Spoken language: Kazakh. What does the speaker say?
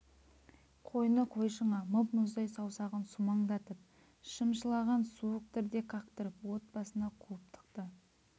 қойны-қоншыңа мұп-мұздай саусағын сумаңдатып шымшылаған суық дірдек қақтырып от басына қуып тықты